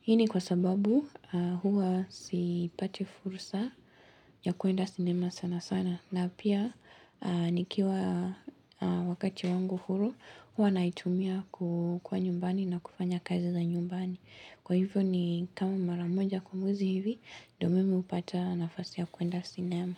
Hii ni kwa sababu huwa sipati fursa ya kwenda sinema sana sana. Na pia nikiwa wakati wangu huru, huwa naitumia kwa nyumbani na kufanya kazi za nyumbani. Kwa hivyo ni kama mara moja kwa mwezi hivi, ndio mimi hupata nafasi ya kwenda sinema.